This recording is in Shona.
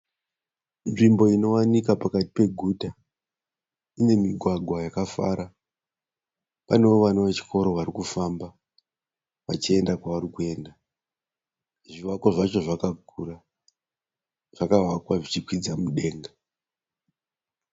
Nzvimbo inowanika pakati peguta. Ine migwagwa yakafara. Panewo vana vechikoro vari kufamba vachienda kwavari kuenda. Zvivakwa zvacho zvakakura. Zvakavakwa zvichikwidza mudenga.